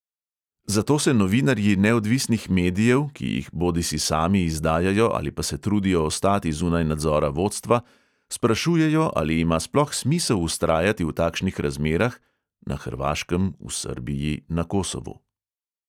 Zato se novinarji neodvisnih medijev (ki jih bodisi sami izdajajo ali pa se trudijo ostati zunaj nadzora vodstva) sprašujejo, ali ima sploh smisel vztrajati v takšnih razmerah (na hrvaškem, v srbiji, na kosovu).